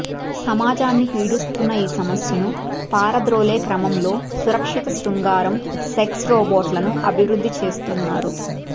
సమాజాన్ని పీడిస్తున్న ఈ సమస్యను పారద్రోలే క్రమంలో సురక్షత శృంగారం సెక్స్ రోబోట్లను అభివృద్థి చేస్తున్నారు